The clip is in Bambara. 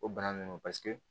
O bana ninnu paseke